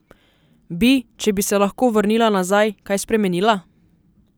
Ob severnem Jadranu so zaradi slabih vremenskih razmer razglasili rdeči alarm.